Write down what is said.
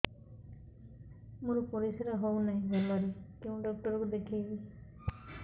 ମୋର ପରିଶ୍ରା ହଉନାହିଁ ଭଲରେ କୋଉ ଡକ୍ଟର କୁ ଦେଖେଇବି